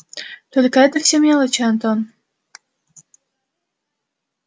только это все мелочи антон